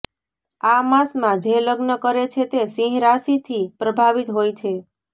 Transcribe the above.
આ માસમાં જે લગ્ન કરે છે તે સિંહ રાશિથી પ્રભાવિત હોય છે